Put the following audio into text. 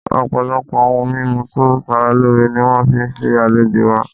Ọpọlọpọ oun mimu to sara loore ni wọn fi ṣe alejo wa